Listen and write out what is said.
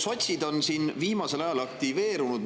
Sotsid on siin viimasel ajal aktiveerunud.